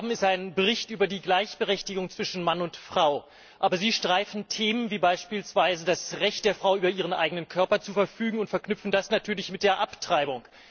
Was wir hier haben, ist ein Bericht über die Gleichberechtigung zwischen Mann und Frau. Aber Sie streifen Themen, wie beispielsweise das Recht der Frau, über ihren eigenen Körper zu verfügen, und verknüpfen das mit der Abtreibung.